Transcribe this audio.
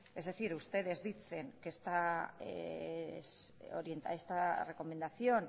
es decir ustedes dicen que esta recomendación